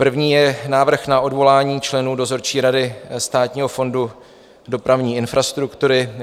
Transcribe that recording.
První je Návrh na odvolání členů dozorčí rady Státního fondu dopravní infrastruktury.